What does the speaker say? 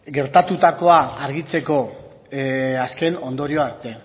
gertatutako argitzeko azken ondorio arte